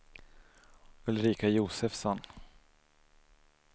Ulrika Josefsson